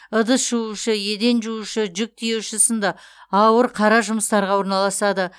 ыдыс жуушы еден жуушы жүк тиеуші сынды ауыр қара жұмыстарға орналасады